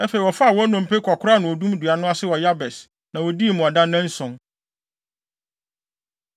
Afei, wɔfaa wɔn nnompe kɔkoraa no odum dua no ase wɔ Yabes, na wodii mmuada nnanson.